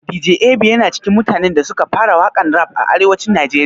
Dj Ab yana cikin mutanen da suka fara waƙan rap a arewacin najeriya